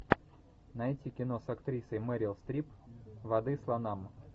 найти кино с актрисой мерил стрип воды слонам